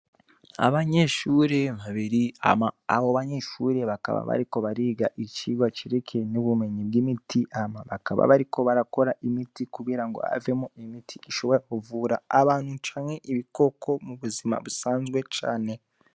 Abanyeshuri babiri. Hama abo banyeshuri bakaba bariko bariga icigwa cerekeye n'ubumenyi bw'imiti hama bakaba bariko barakora imiti kugira ngo havemwo imiti ishobora kuvura abantu canke ibikoko mu buzima busanzwe cane.